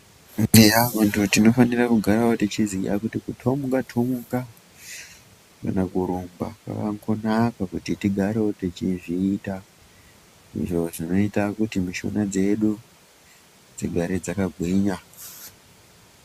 Eya antu tinofanira kugara techiziya kuti kutomuka tomuka kana kurumba kwakangonaka kuti tigarewo techizviita izvo zvinoita kuti mishuna dzedu dzigare dzakagwinya.